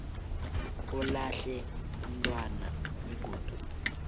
olahle umntwana begodu